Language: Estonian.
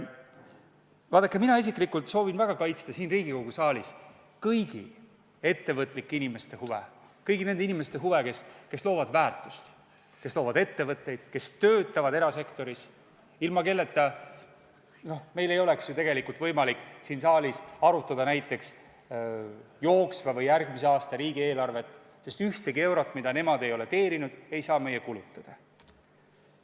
Vaadake, mina isiklikult soovin väga kaitsta siin Riigikogu saalis kõigi ettevõtlike inimeste huve, kõigi nende inimeste huve, kes loovad väärtust, kes loovad ettevõtteid, kes töötavad erasektoris ja ilma kelleta ei oleks meil ju tegelikult võimalik siin saalis arutada näiteks jooksva või järgmise aasta riigieelarvet, sest eurosid, mida nemad pole teeninud, ei saa meie ka kulutada.